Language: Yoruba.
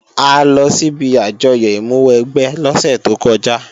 A lọ síbi àjọyọ̀ ìmúwẹgbẹ́ lọ́sẹ̀ tó kọjá